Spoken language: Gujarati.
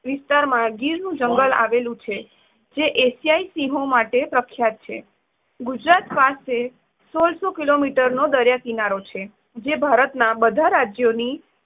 વિસ્તારમાં ગીરનું જંગલ આવેલું છે જે એશીયાઇ સિંહો માટે પ્રખ્યાત છે. ગુજરાત પાસે સોળશો કિલોમિટર નો દરિયા કિનારો છે, જે ભારતના બધા રાજ્યોની